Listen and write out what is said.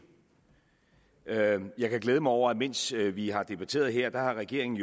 jeg kan glæde mig over at mens vi har debatteret her har regeringen